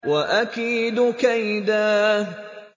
وَأَكِيدُ كَيْدًا